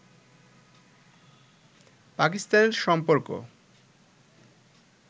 পাকিস্তানের সম্পর্ক